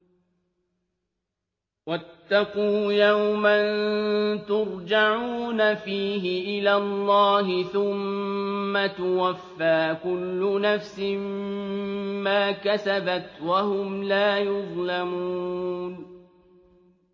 وَاتَّقُوا يَوْمًا تُرْجَعُونَ فِيهِ إِلَى اللَّهِ ۖ ثُمَّ تُوَفَّىٰ كُلُّ نَفْسٍ مَّا كَسَبَتْ وَهُمْ لَا يُظْلَمُونَ